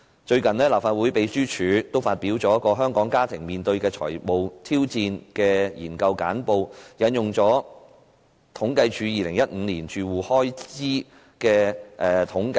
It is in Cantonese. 最近，立法會秘書處發表有關"香港家庭面對的財務挑戰"的研究簡報，並引用政府統計處2015年住戶開支統計調查結果。